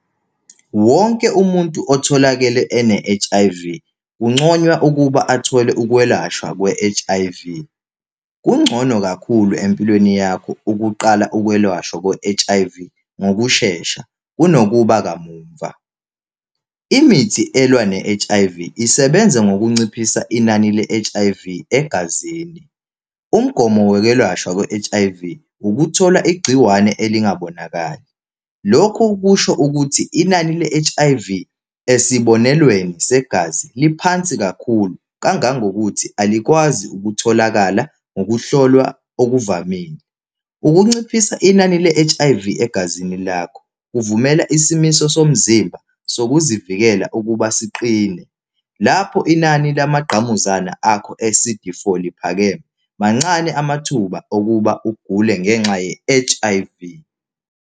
Wonke umuntu otholakele ene-H_I_V kunconywa ukuba athole ukwelashwa kwe-H_I_V. Kungcono kakhulu empilweni yakho ukuqala ukwelashwa kwe-H_I_V ngokushesha kunokuba kamumva. Imithi elwa ne-H_I_V isebenza ngokunciphisa inani le-H_I_V egazini. Umgomo wokwelashwa kwe-H_I_V ukuthola igciwane elingabonakali. Lokhu kusho ukuthi inani le-H_I_V esibonelweni segazi liphansi kakhulu, kangangokuthi alikwazi ukutholakala ngokuhlolwa okuvamile. Ukunciphisa inani le-H_I_V egazini lakho kuvumela isimiso somzimba sokuzivikela ukuba siqine. Lapho inani lamagqamuzana akho e-C_D four liphakeme, mancane amathuba okuba ugule ngenxa ye-H_I_V.